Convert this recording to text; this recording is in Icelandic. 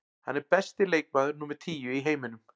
Hann er besti leikmaður númer tíu í heiminum.